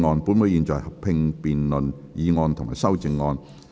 本會現在合併辯論議案及修正案。